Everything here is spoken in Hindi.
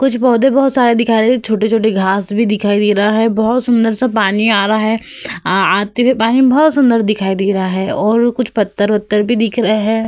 कुछ पौधे बहोत सारे दिखाई दे रहे। छोटे-छोटे घास भी दिखाई दे रहा है। बोहोत सुंदर-सा पानी आ रहा है। आ आते हुए पानी बोहोत सुंदर दिखाई दे रहा है और कुछ पत्थर ओत्थर भी दिख रहे है।